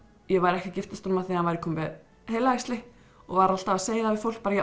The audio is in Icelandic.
ég væri ekki að giftast honum af því að hann væri kominn með heilaæxli og var alltaf að segja það við fólk